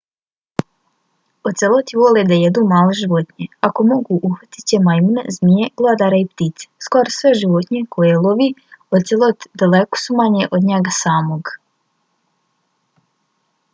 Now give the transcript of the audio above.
oceloti vole da jedu male životinje. ako mogu uhvatit će majmune zmije glodare i ptice. skoro sve životinje koje lovi ocelot daleko su manje od njega samog